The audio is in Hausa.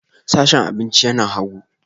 Sashen abinci yana hagu